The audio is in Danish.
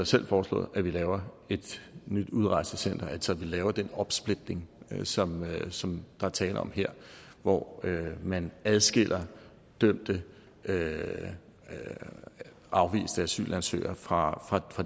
selv foreslået at vi laver et nyt udrejsecenter altså at vi laver den opsplitning som som der er tale om her hvor man adskiller dømte dømte afviste asylansøgere fra